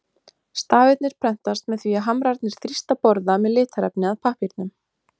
Stafirnir prentast með því að hamrarnir þrýsta borða með litarefni að pappírnum.